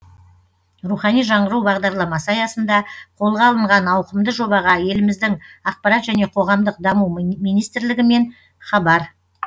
рухани жаңғыру бағдарламасы аясында қолға алынған ауқымды жобаға еліміздің ақпарат және қоғамдық даму министрлігі мен хабар